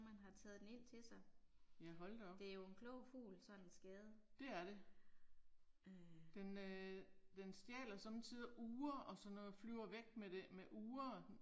Ja hold da op. Det er det. Den øh den stjæler somme tider ure og sådan noget, flyver væk med det, med ure